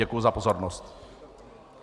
Děkuji za pozornost.